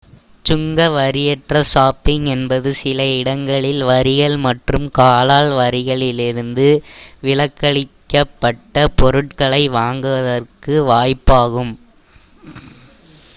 சுங்கவரியற்ற shopping என்பது சில இடங்களில் வரிகள் மற்றும் கலால் வரிகளிலிருந்து விலக்களிக்கப்பட்ட பொருட்களை வாங்குவதற்கான வாய்ப்பாகும்